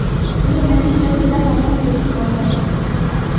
Buning natijasida namoz durust bo‘lmaydi.